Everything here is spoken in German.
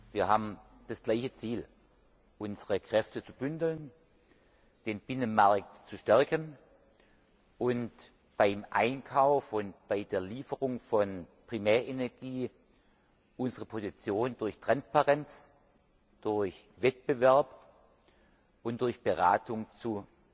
Wir haben das gleiche Ziel, unsere Kräfte zu bündeln, den Binnenmarkt zu stärken und beim Einkauf und bei der Lieferung von Primärenergie unsere Position durch Transparenz, durch Wettbewerb und durch Beratung zu